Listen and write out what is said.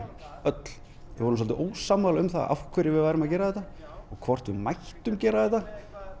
við vorum ósammála um af hverju við værum að gera þetta og hvort við mættum gera þetta